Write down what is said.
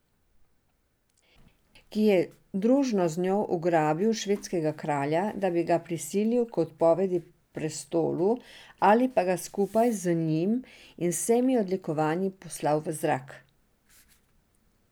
Ki je družno z njo ugrabil švedskega kralja, da bi ga prisilil k odpovedi prestolu ali pa ga skupaj z njim in vsemi odlikovanji poslal v zrak.